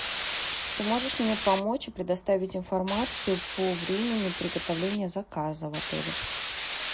ты можешь мне помочь и предоставить информацию по времени приготовления заказа в отеле